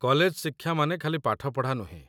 college ଶିକ୍ଷା ମାନେ ଖାଲି ପାଠପଢ଼ା ନୁହେଁ